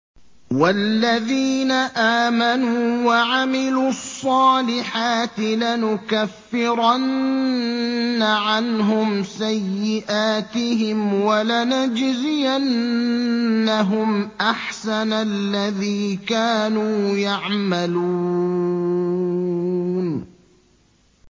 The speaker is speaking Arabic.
وَالَّذِينَ آمَنُوا وَعَمِلُوا الصَّالِحَاتِ لَنُكَفِّرَنَّ عَنْهُمْ سَيِّئَاتِهِمْ وَلَنَجْزِيَنَّهُمْ أَحْسَنَ الَّذِي كَانُوا يَعْمَلُونَ